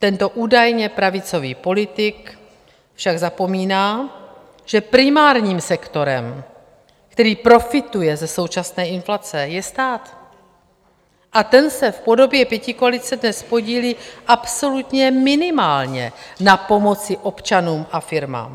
Tento údajně pravicový politik však zapomíná, že primárním sektorem, který profituje ze současné inflace, je stát, a ten se v podobě pětikoalice dnes podílí absolutně minimálně na pomoci občanům a firmám.